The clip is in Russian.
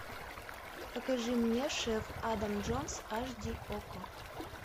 покажи мне шеф адам джонс аш ди окко